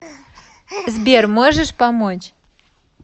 сбер можешь помочь